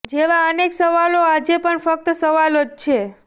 જેવા અનેક સવાલો આજે પણ ફક્ત સવાલો જ છે